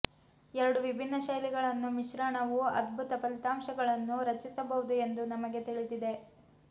ಎರಡು ವಿಭಿನ್ನ ಶೈಲಿಗಳನ್ನು ಮಿಶ್ರಣವು ಅದ್ಭುತ ಫಲಿತಾಂಶಗಳನ್ನು ರಚಿಸಬಹುದು ಎಂದು ನಮಗೆ ತಿಳಿದಿದೆ